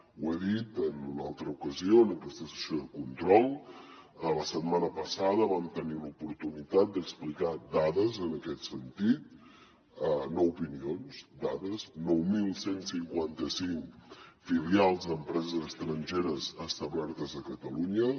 ho he dit en una altra ocasió en aquesta sessió de control la setmana passada vam tenir l’oportunitat d’explicar dades en aquest sentit no opinions dades nou mil cent i cinquanta cinc filials d’empreses estrangeres establertes a catalunya